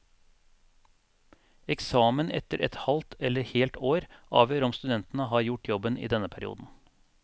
Eksamen etter et halvt eller helt år avgjør om studentene har gjort jobben i denne perioden.